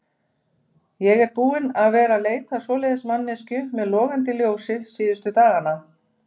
Ég er búinn að vera að leita að svoleiðis manneskju með logandi ljósi síðustu dagana.